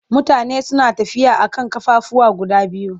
Mutane suna tafiya a kan ƙafafuwa guda biyu.